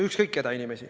Ükskõik keda.